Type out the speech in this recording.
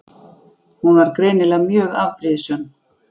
Hún var greinilega mjög afbrýðisöm.